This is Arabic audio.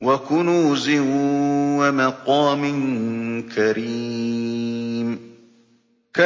وَكُنُوزٍ وَمَقَامٍ كَرِيمٍ